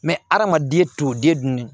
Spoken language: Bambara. hadamaden t'o den dun ni